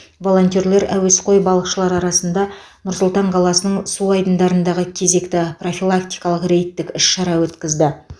волонтерлер әуесқой балықшылар арасында нұр сұлтан қаласының су айдындарындағы кезекті профилактикалық рейдтік іс шара өткізді